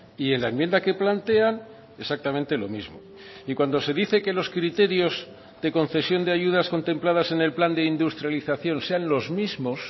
y en la enmienda que plantean exactamente lo mismo y cuando se dice que los criterios de concesión de ayudas contempladas en el plan de industrialización sean los mismos